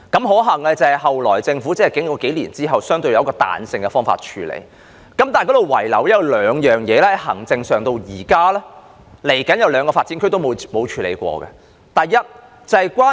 可幸的是，政府在數年後採用相對彈性的方法處理，但仍然遺留兩方面的問題，是未來兩個新發展區至今也沒有處理的行政問題。